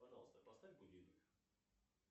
пожалуйста поставь будильник